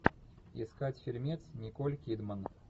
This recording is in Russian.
искать фильмец николь кидман